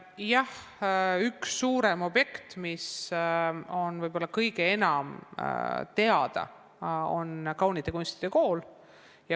Jah, üks suurem objekt, mis on võib-olla kõige enam teada, on kaunite kunstide kool.